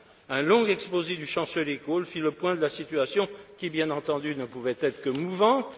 Un long exposé du chancelier Kohl fit le point sur la situation qui, bien entendu, ne pouvait être que mouvante.